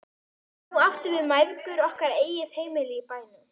Nú áttum við mæðgur okkar eigið heimili í bænum.